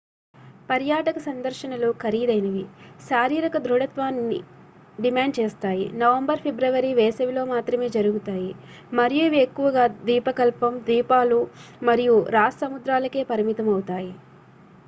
పర్యాటక సందర్శనలు ఖరీదైనవి శారీరక దృఢత్వాన్ని డిమాండ్ చేస్తాయి నవంబర్-ఫిబ్రవరి వేసవిలో మాత్రమే జరుగుతాయి మరియు ఇవి ఎక్కువగా ద్వీపకల్పం ద్వీపాలు మరియు రాస్ సముద్రాలకే పరిమితం అవుతాయి